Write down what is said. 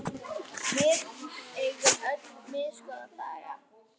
Við eigum öll misgóða daga.